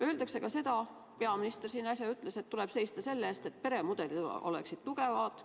Öeldakse ka seda – peaminister just äsja ütles –, et tuleb seista selle eest, et peremudelid oleksid tugevad.